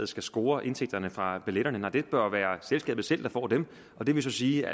skal score indtægterne fra billetterne det bør være selskabet selv der får dem og det vil så sige at